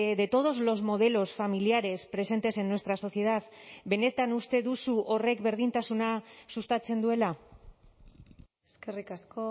de todos los modelos familiares presentes en nuestra sociedad benetan uste duzu horrek berdintasuna sustatzen duela eskerrik asko